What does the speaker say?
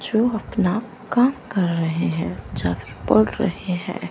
जो अपना काम कर रहे हैं या फिर बोल रहे हैं।